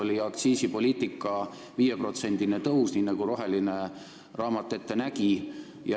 Siis oli aktsiiside 5%-line tõus, nii nagu roheline raamat ette nägi.